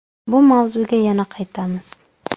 Bu mavzuga yana qaytamiz...